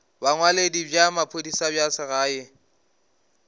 bongwaledi bja maphodisa bja segae